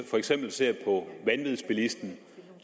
for eksempel ser på vanvidsbilisten